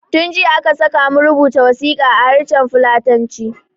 Tun jiya aka sakamu rubuta wasiƙa a harshen fulatanci